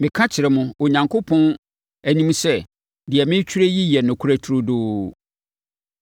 Meka kyerɛ mo, Onyankopɔn anim sɛ deɛ meretwerɛ yi yɛ nokorɛ trodoo.